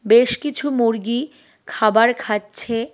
বেশ কিছু মুরগী খাবার খাচ্ছে।